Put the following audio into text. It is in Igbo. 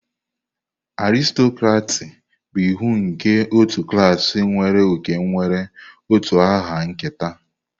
Aristokraki bụ iwu nke otu klaasị nwere oke nwere utu aha nketa.